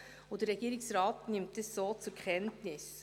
Der Regierungsrat nimmt dies dann so zur Kenntnis.